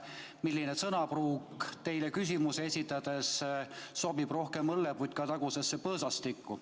Selline sõnapruuk, mida teile küsimusi esitades on kasutatud, sobib rohkem õlleputkatagusesse põõsastikku.